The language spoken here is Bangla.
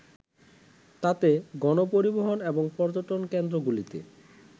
তাতে গণপরিবহন এবং পর্যটনকেন্দ্রগুলিতে